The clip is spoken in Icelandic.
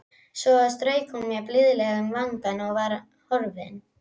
Svo strauk hún mér blíðlega um vangann og var horfin.